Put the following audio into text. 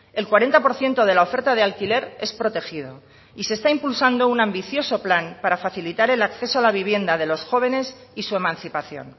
el cuarenta por ciento de la oferta de alquiler es protegido y se está impulsando un ambicioso plan para facilitar el acceso a la vivienda de los jóvenes y su emancipación